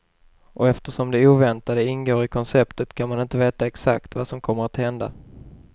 Och eftersom det oväntade ingår i konceptet kan man inte veta exakt vad som kommer att hända.